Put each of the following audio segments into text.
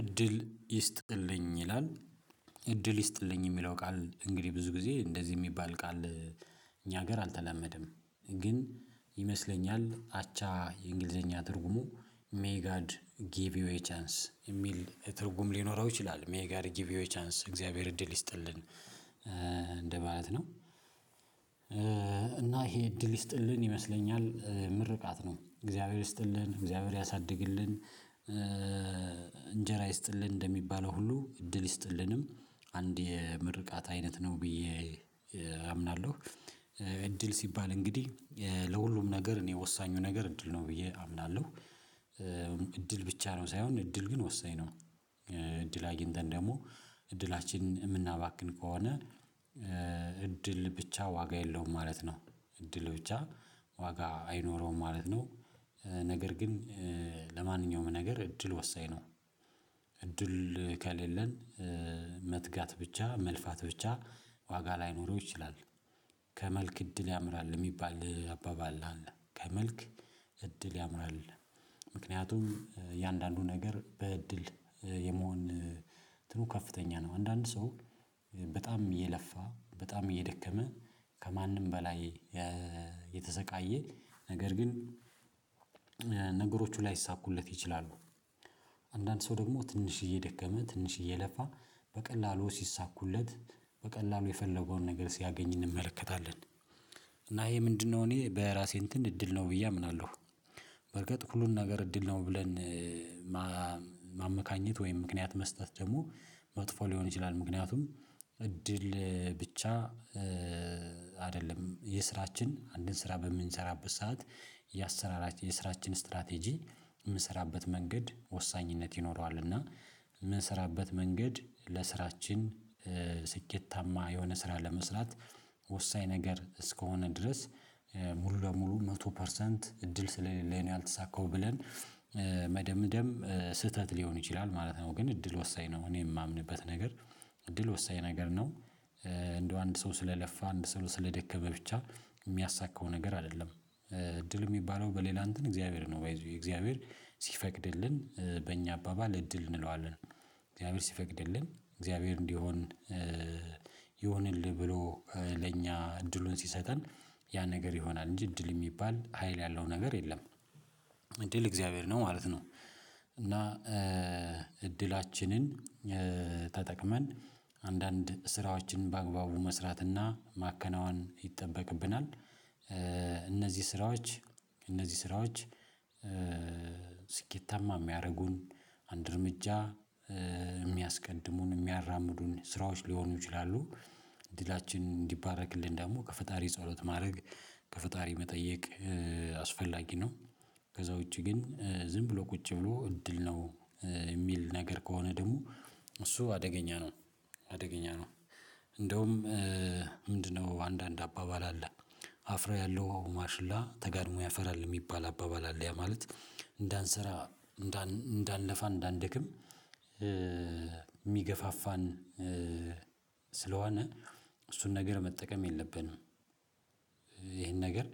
እድል ይስጥልኝ ይላል እድል ይስጥልኝ የሚለው ቃል እንግዲህ ብዙ ጊዜ እንደዚህ የሚባል ቃል እኛ ሀገር አልተላመደም ግን ይመስለኛል አቻ የእንግሊዘኛ ትርጉሙ ሜይ ጋድ ጊቭ ዩ ኤ ቻንስ የሚል ትርጉም ሊኖረው ይችላል። ሜይ ጋድ ጊቭ ዩ ኤ ቻንስ እግዚአብሔር እድል ይስጥልን እንደማለት ነው። እና ይሄ እድል ይስጥልን ይመስለኛል ምርቃት ነው። እግዚአብሔር ይስጥል፤ እግዚአብሔር ያሳድግልን፤ እንጀራ ይስጥልን፤ እንደሚባለው ሁሉ እድል ይስጥልንም አንድ የምርቃት አይነት ነው ብዬ አምናለሁ። እድል ሲባል እንግዲህ ለሁሉም ነገር እኔ ወሳኙ ነገር እድል ነው ብዬ አምናለሁ። እድል ብቻ ነው ሳይሆን እድል ግን ወሳኝ ነው እድል አግኝተን ደግሞ እድላችንን የምናባክን ከሆነ እድል ብቻ ዋጋ የለውም ማለት ነው። እድል ብቻ ዋጋ አይኖረውም ማለት ነው። ነገር ግን ለማንኛውም ነገር እድል ወሳኝ ነው። እድል ከሌለን መትጋት ብቻ መልፋት ብቻ ዋጋ ላይኖረው ይችላል። ከመልክ እድል ያምራል የሚባል አባባል አለ። ከመልክ እድል ያምራል። ምክንያቱም እያንዳንዱ ነገር በእድል የመሆን እንትኑ ከፍተኛ ነው። አንዳንድ ሰው በጣም እየለ፤ በጣም እየደከመ፤ ከማንም በላይ የተሰቃየ፤ ነገር ግን ነገሮቹ ላይሳኩለት ይችላሉ። አንዳንድ ሰው ደግሞ ትንሽዬ ደከመ፤ ትንሽዬ ለፋ፤ በቀላሉ ሲሳኩለት፤ በቀላሉ የፈለገውን ነገር ሲያገኝ እንመለከታለን። እና ይሄ ምንድነው እኔ በራሴ እንትን እድል ነው ብዬ አምናለሁ በርግጥ ሁሉን ነገር እድል ነው ብለን ማመካኘት ወይም ምክንያት መስጠት ደግሞ መጥፎ ሊሆን ይችላል። ምክንያቱም እድል ብቻ አይደለም የስራችን አንድን ስራ በምንሰራበት ሰዓት የስራችን ስትራቴጂ የምንሰራበት መንገድ ወሳኝነት ይኖረዋል። እና የምንሰራበት መንገድ ለስራችን ስኬታማ የሆነ ስራ ለመስራት ወሳኝ ነገር እስከሆነ ድረስ ሙሉ ለሙሉ መቶ ፐርሰንት እድል ስለሌለኝ ነው ያልተሳካው ብለን መደምደም ስህተት ሊሆን ይችላል ማለት ነው። ግን እድል ወሳኝ ነው እኔ የማምንበት ነገር እድል ወሳኝ ነገር ነው። እንደው አንድ ሰው ስለለፋ አንድ ሰው ስለደከመ ብቻ የሚያሳካው ነገር አይደለም። እድል የሚባለው በሌላ እንትን እግዚአብሔር ነው ባይ ዘ ዌይ እግዚአብሔር ሲፈቅድልን በእኛ አባባል እድል እንለዋለን። እግዚአብሔር ሲፈቅድልን እግዚአብሔር እንዲሆን ይሆንልህ ብሎ ለኛ እድሉን ሲሰጠን ያ ነገር ይሆናል እንጂ እድል የሚባል ሀይል ያለው ነገር የለም። እድል እግዚአብሔር ነው ማለት ነው። እና እድላችንን ተጠቅመን አንዳንድ ስራዎችን በአግባቡ መስራትና ማከናወን ይጠበቅብናል። እነዚህ ስራዎች ስኬታማ የሚያደርጉን አንድ እርምጃ የሚያስቀድሙን፤ የሚያራምዱን፤ ስራዎች ሊሆኑ ይችላሉ ዕድላችን እንዲባረክልን ደግሞ ከፈጣሪ ጸሎት ማድረግ፤ ከፈጣሪ መጠየቅ አስፈላጊ ነው። ከዛ ውጪ ግን ዝም ብሎ ቁጭ ብሎ እድል ነው የሚል ነገር ከሆነ ደግሞ እሱ አደገኛ ነው አደገኛ ነው እንደውም ምንድነው አንዳንድ አባባል አለ አፍራ ያለው ማሽላ ተጋድሞ ያፈራል። የሚባል አባባል አለ ያ ማለት እንዳንሰራ፤ እንዳንለ፤ እንዳንደክም የሚገፋፋን ስለሆነ እሱን ነገር መጠቀም የለብንም። ይሄን ነገር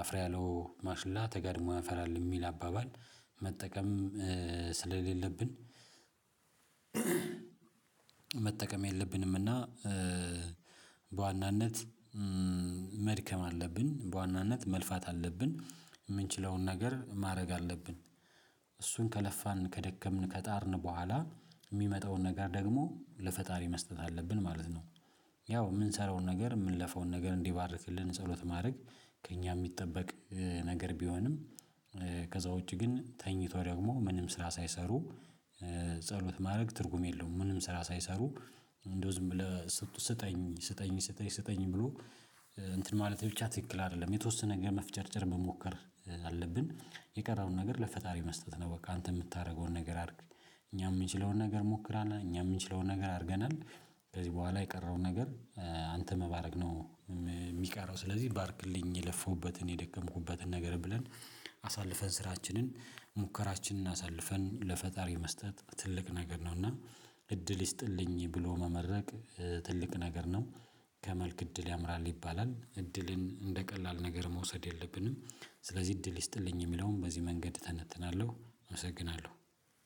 አፍ የሠለው ማሽላ ተጋድሞ ያፈራል የሚል አባባል መጠቀም ስለሌለብን መጠቀም የለብንምና በዋናነት መድከም አለብን፤ በዋናነት መልፋት አለብን፤ የምንችለውን ነገር ማድረግ አለብን። እሱን ከለፋን ከደከምን ከጣርን በኋላ የሚመጣውን ነገር ደግሞ ለፈጣሪ መስጠት አለብን ማለት ነው። ያው የምንሰራውን ነገር የምንለፈውን ነገር እንዲባርክልን ጸሎት ማድረግ ከእኛ የሚጠበቅ ነገር ቢሆንም ከዛ ውጪ ግን ተኝቶ ደግሞ ምንም ስራ ሳይሰሩ ጸሎት ማድረግ ትርጉም የለውም። ምንም ስራ ሳይሰሩ እንደው ዝም ብሎ ስጠኝ ስጠኝ ስጠኝ ስጠኝ ብሎ እንትን ማለት ብቻ ትክክል አይደለም። የተወሰነ ነገር መፍጨርጨር መሞከር አለብን የቀረውን ነገር ለፈጣሪ መስጠት ነው በቃ አንተ የምታደርገውን ነገር አድርግ እኛ የምንችለውን ነገር ሞክራለሁ እኛ የምንችለውን ነገር አድርገናል ከዚህ በኋላ የቀረውን ነገር አንተ መባረክ ነው የሚቀረው ስለዚህ ባርክልኝ የለፈሁበትን የደከምኩበትን ነገር ብለን አሳልፈን ስራችንን፤ ሙከራችንን አሳልፈን፤ ለፈጣሪ መስጠት ትልቅ ነገር ነው እና እድል ይስጥልኝ ብሎ መመረቅ ትልቅ ነገር ነው። ከመልክ እድል ያምራል ይባላል። እድልን እንደ ቀላል ነገር መውሰድ የለብንም። ስለዚህ እድል ይስጥልኝ የሚለውን በዚህ መንገድ እተነትናለሁ አመሰግናለሁ።